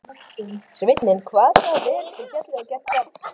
Sveinninn kvað það vel til fallið og gekk fram.